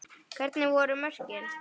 Hvernig voru mörkin?